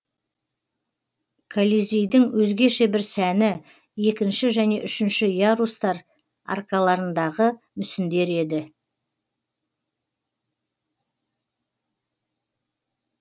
колизейдің өзгеше бір сәні екінші және үшінші ярустар аркаларындағы мүсіндері еді